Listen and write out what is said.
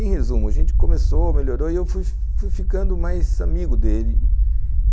Em resumo, a gente começou, melhorou, e eu fui ficando mais amigo dele.